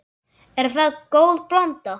Er það góð blanda.